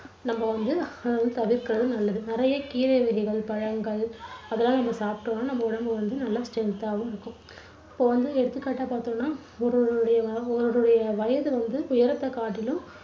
நம்ம வந்து அஹ் தவிர்க்கறது நல்லது. நிறைய கீரை வகைகள், பழங்கள் அதெல்லாம் நம்ம சாப்பிட்டோம்னா நம்ம உடம்பு வந்து நல்ல strength ஆவும் இருக்கும். இப்போ வந்து எடுத்துக்காட்டா பார்த்தோம்னா ஒருவருடைய வ~ ஒருவருடைய வயது வந்து உயரத்தைக் காட்டிலும்